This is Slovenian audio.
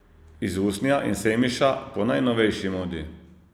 Iz usnja in semiša, po najnovejši modi.